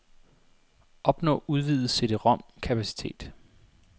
Opnå udvidet cd-rom kapacitet.